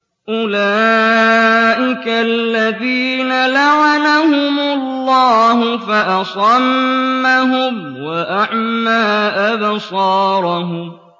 أُولَٰئِكَ الَّذِينَ لَعَنَهُمُ اللَّهُ فَأَصَمَّهُمْ وَأَعْمَىٰ أَبْصَارَهُمْ